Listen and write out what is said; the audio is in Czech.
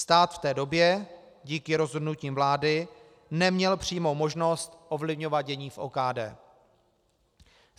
Stát v té době díky rozhodnutím vlády neměl přímou možnost ovlivňovat dění v OKD.